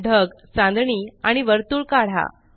ढगचांदणीआणि वर्तुळ काढा